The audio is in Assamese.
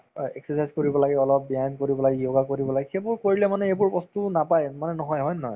অ, exercise কৰিব লাগে অলপ, ব্যায়াম কৰিব লাগে, yoga কৰিব লাগে সেইবোৰ কৰিলে মানে এইবোৰ বস্তু নাপায়ে মানে নহয়ে হয় নে নহয়